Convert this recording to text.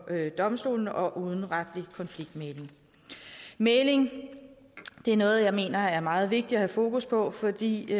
domstolene og uden retlig konfliktmægling mægling er noget jeg mener er meget vigtigt at have fokus på fordi